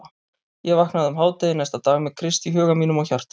Ég vaknaði um hádegi næsta dag með Krist í huga mínum og hjarta.